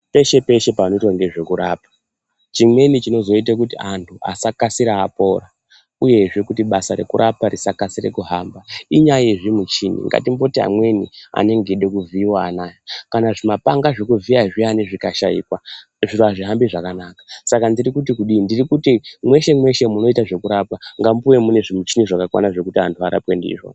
Peshe peshe panoitwa ngezvekurapwa chimweni chinozoite kuti anhu asakasira apora uyehe kuti basa rekurapa risakasire kuhamba inyaya yezvimichini, ngatimboti amweni anenge eide kuvhiiwa anaya kana zvimapanga zvekuvhiya zviyani zvikashaikwa zviro azvihambi zvakanaka saka ndiri kuti kudini ,ndirikuti mweshe mweshe munoitwe zvekurapwa ngamuwe mune zvimichini zvakakwana zvekuti anhu arapwe ndizvo.